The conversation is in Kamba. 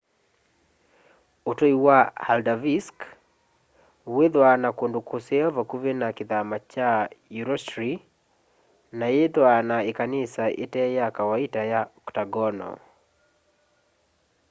utui wa haldarsvik withwaa na kundu kuseo vakuvi na kithama kya eysturoy na yithwaa na ikanisa ite ya kawaita ya octagonal